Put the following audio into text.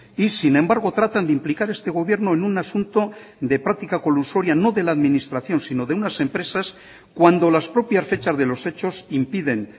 y sin embargo tratan de implicar este gobierno en un asunto de práctica colusoria no de la administración sino de unas empresas cuando las propias fechas de los hechos impiden